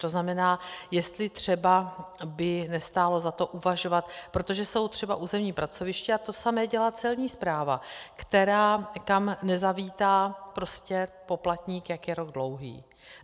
To znamená, jestli třeba by nestálo za to uvažovat, protože jsou třeba územní pracoviště, a to samé dělá Celní správa, která, kam nezavítá poplatník, jak je rok dlouhý.